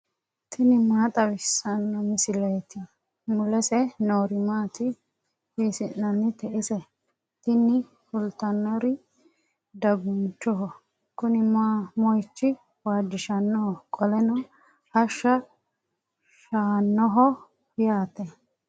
tini maa xawissanno misileeti ? mulese noori maati ? hiissinannite ise ? tini kultannori dagunchoho. kuni mohicho waajjishannoho qoleno hashsha si"annoho yaate.